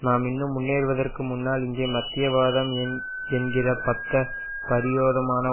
நாம் இன்னும் முன்னேறுவதற்கு முன்னால் இங்கே மத்திய வாதம் என் என்கிற பத்தப் பிரயோதமானது